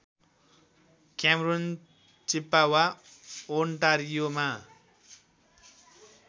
Cameroon Chippawa ओन्टारियोमा